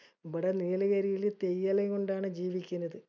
ഇബടെ നീലഗിരിയില് തേയില്ലെകൊണ്ടാണ് ജീവിക്കണത്.